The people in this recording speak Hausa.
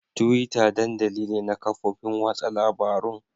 Twitter dandali ne na kafofin watsa labarun.